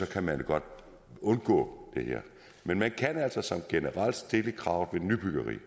kan man godt undgå det men man kan altså sådan generelt stille et krav ved nybyggeri